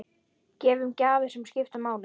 Gefum gjafir sem skipta máli.